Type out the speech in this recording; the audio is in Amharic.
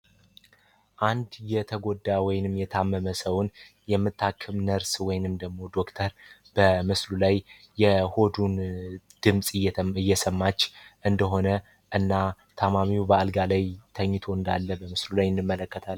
አንድ የተጎዳ ወይም የታመመ ሰውን የምታክም ነርስ ወይንም ደሞ ዶክተር በመስሩ ላይ የሆዱን ድምጽ እየሰማች እንደሆነ እና ታማሚው በአልጋ ላይ ተኝቶ እንዳለ እንመለከታለን።